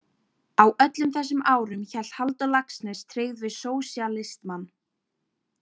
Á öllum þessum árum hélt Halldór Laxness tryggð við sósíalismann.